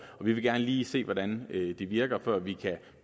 og vi vil gerne lige se hvordan det virker før vi kan